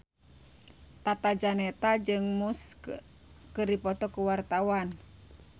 Tata Janeta jeung Muse keur dipoto ku wartawan